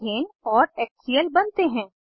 ethane और HCl बनते हैं